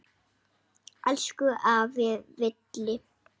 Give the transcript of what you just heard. Elsku afi Villi.